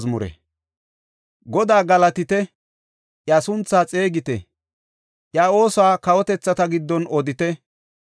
Godaa galatite; iya sunthaa xeegite; Iya oosuwa kawotethata giddon odite.